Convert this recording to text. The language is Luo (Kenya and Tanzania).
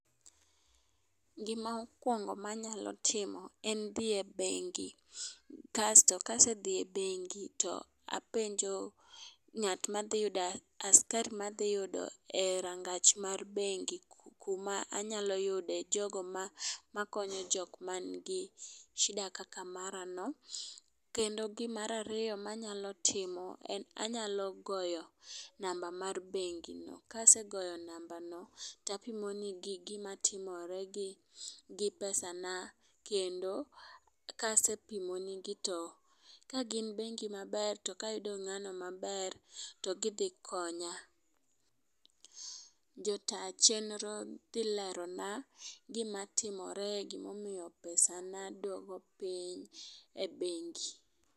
Gima okwongo manyalo timo en dhi e bengi ,kasto kasedhi e bengi tapenjo ng'at madhi yudo , askari madhi yudo e rangach mar bengi kuma anyalo yude jogo makonyo jok manigi shida kaka mara no. Kendo gimara riyo manyalo timo en ni anyalo timo namba mar bengi . Kasegoyo namba no tapimo ne gima timore gi pesa na kendo kasepimo ne gi to kagin bengi maber to ka yudo ng'ano maber to gidhi konya. Jota chenro dhi lero na gima timore gimomiyo pesa na duogo piny e bengi.